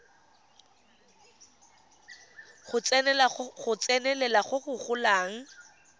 go tsenelela go go golang